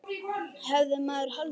Hefði maður haldið.